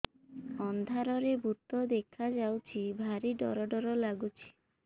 ଅନ୍ଧାରରେ ଭୂତ ଦେଖା ଯାଉଛି ଭାରି ଡର ଡର ଲଗୁଛି